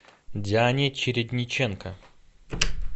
диане чередниченко